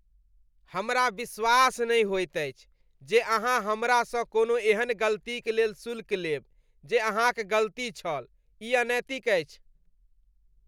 हमरा विश्वास नहि होइत अछि जे अहाँ हमरा सँ कोनो एहन गलतीक लेल शुल्क लेब जे अहाँक गलती छल। ई अनैतिक अछि।